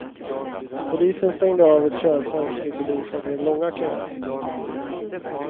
Polisen stängde av ett körfält vilket orsakade långa köer.